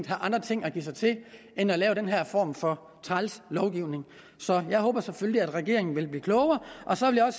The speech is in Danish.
have andre ting at give sig til end at lave den her form for træls lovgivning så jeg håber selvfølgelig at regeringen vil blive klogere og så vil jeg